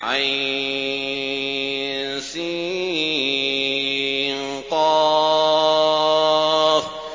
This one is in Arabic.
عسق